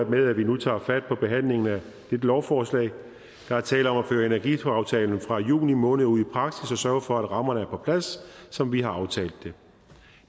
med at vi nu tager fat på behandlingen af dette lovforslag der er tale om at føre energiaftalen fra juni måned ud i praksis og sørge for at rammerne er på plads som vi har aftalt det